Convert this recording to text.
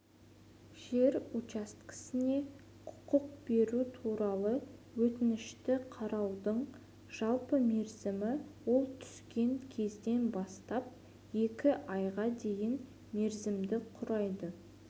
жер учаскесіне құқық беру туралы өтінішті қараудың жалпы мерзімі ол түскен кезден бастап екі айға дейінгі мерзімді құрайды